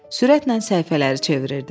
Sürətlə səhifələri çevirirdi.